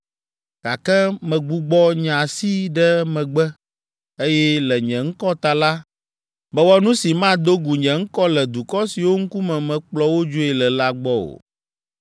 Gake megbugbɔ nye asi ɖe megbe, eye le nye ŋkɔ ta la, mewɔ nu si mado gu nye ŋkɔ le dukɔ siwo ŋkume mekplɔ wo dzoe le la gbɔ o.